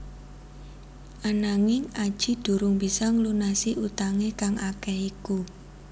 Ananging Adjie durung bisa nglunasi utangé kang akéh iku